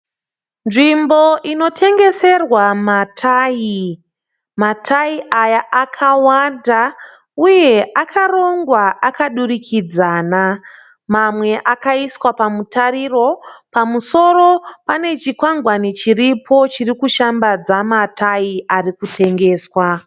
Nzvimbo inotengeserwa matayi. Matayi aya akawanda uye akarongwa akadurikidzana, mamwe akaiswa pamutariro. Pamusoro pane chikwangwani chiripo chirikushambadza matayi arikutengeswa.